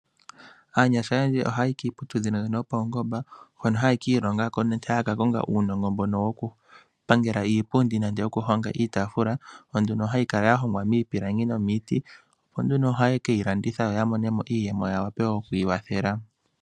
Aanyasha oyendji ohaya yi kiiputudhilo mbyono yopaungomba hono hayi ki ilonga ko nenge haya kakonga uunongo mbono wokupangela iipundi nenge iitaafula, yo nduno hayi kala y ahongwa miipilangi nomiiti, opo nduno ohaye ke yi landitha opo ya mone mo iiyemo ya wape oku kiikwathela.